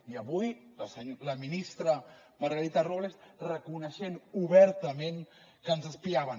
i avui la ministra margarita robles reconeixent obertament que ens espiaven